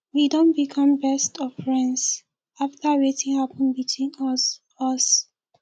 we don become best of friends after wetin happen between us us